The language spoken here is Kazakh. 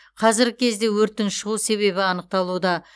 қазіргі кезде өрттің шығу себебі анықталуда